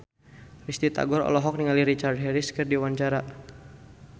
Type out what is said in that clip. Risty Tagor olohok ningali Richard Harris keur diwawancara